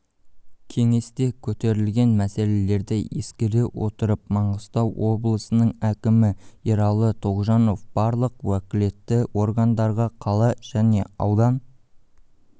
кеңесте көтерілген мәселелерді ескере отырып маңғыстау облысының әкімі ералы тоғжанов барлық уәкілетті органдарға қала және аудан